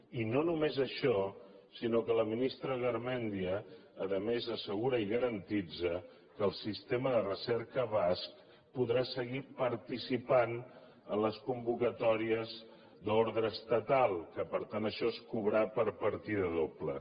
i no només això sinó que la ministra garmendia a més assegura i garanteix que el sistema de recerca basc podrà seguir participant a les convocatòries d’ordre estatal que per tant això és cobrar per partida doble